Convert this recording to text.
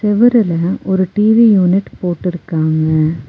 செவுருலெ ஒரு TV unit போட்டிருக்காங்க.